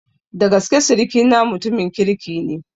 Dagaskene sirikina mutumin kirki ne.